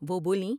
وہ بولیں ۔